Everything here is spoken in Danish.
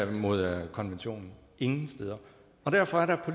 mod konventionen ingen steder og derfor er der